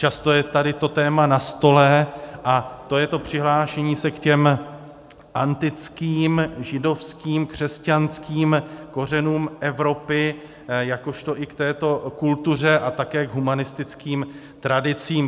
Často je tady to téma na stole, a to je to přihlášení se k těm antickým, židovským, křesťanským kořenům Evropy, jakožto i k této kultuře a také k humanistickým tradicím.